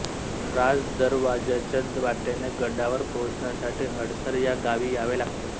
राजदरवाज्याच्या वाटेने गडावर पोहचण्यासाठी हडसर या गावी यावे लागते